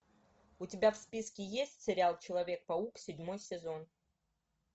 у тебя в списке есть сериал человек паук седьмой сезон